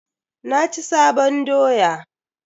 Na ci sabon doya.